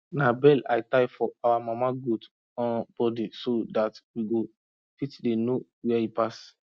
na bell i tie for our mama goat um body so that we go fit dey know where he pass